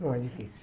Não é difícil.